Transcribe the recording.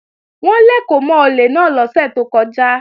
Wọ́n lèkò mọ́ olè náà lọ́sẹ̀ tó kọjá